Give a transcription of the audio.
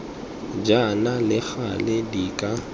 jaana le gale di ka